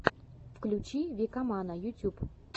включи викамана ютюб